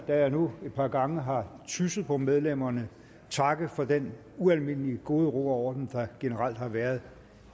jeg nu et par gange har tysset på medlemmerne takke for den ualmindelige gode ro og orden der generelt har været